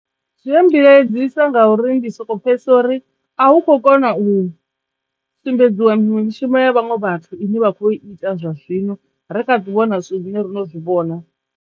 Zwi a mmbilaedzisa ngauri ndi soko pfhesesa uri a hu khou kona u sumbedziwa miṅwe mishumo ya vhaṅwe vhathu ine vha kho ita zwa zwino ri kha ḓi wana zwine rono zwi vhona.